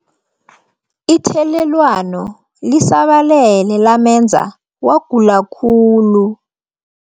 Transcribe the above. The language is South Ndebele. Ithelelwano lisabalele lamenza wagula khulu.